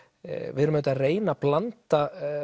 við erum að reyna að blanda